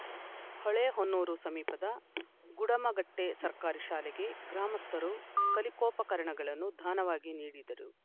ಹೊಳೆಹೊನ್ನೂರು ಸಮೀಪದ ಗುಡುಮಗಟ್ಟೆಸರ್ಕಾರಿ ಶಾಲೆಗೆ ಗ್ರಾಮಸ್ಥರು ಕಲಿಕೋಪಕರಣಗಳನ್ನು ದಾನವಾಗಿ ನೀಡಿದರು